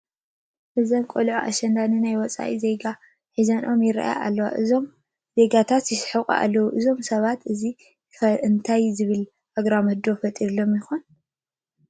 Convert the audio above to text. እዘን ቆልዑ ኣሸንዳ ንናይ ወፃኢ ዜጋታት ሒዘንኦም ይርአያ ኣለዋ፡፡ እዞም ዜጋታት ይስሕቑ ኣለዉ፡፡ እዞም ሰባት እዚ ኸ እንታይ ዝብል ኣግራሞት ዶ ተፈጢርዎ፡ ይኾን?